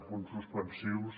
punts suspensius